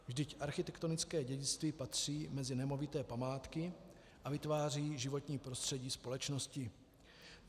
Vždyť architektonické dědictví patří mezi nemovité památky a vytváří životní prostředí společnosti.